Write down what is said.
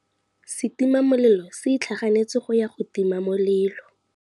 Setima molelô se itlhaganêtse go ya go tima molelô.